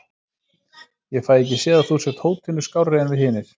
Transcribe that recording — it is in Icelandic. Ég fæ ekki séð að þú sért hótinu skárri en við hinir.